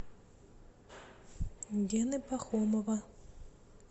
гены пахомова